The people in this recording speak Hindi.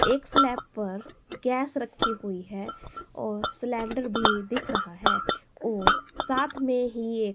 एक स्लैप पर गैस रखी हुई है और सिलेंडर भी दिख रहा है और साथ मे ही एक--